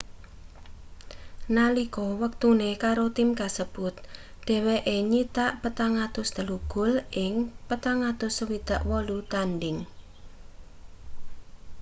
nalika wektune karo tim kasebut dheweke nyitak 403 gol ing 468 tandhing